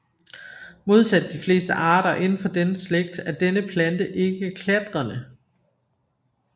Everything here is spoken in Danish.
Modsat de fleste arter indenfor denne slægt er denne plante ikke klatrende